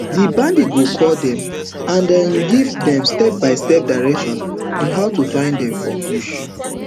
di bandit go call dem and um give dem stepbystep directions on how to find dem for bush